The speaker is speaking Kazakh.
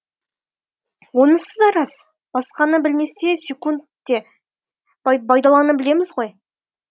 онысы да рас басқаны білмесек те байдалыны білеміз ғой